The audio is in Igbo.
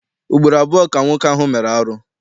Ugboro abụọ ka nwoke ahụ mere arụ.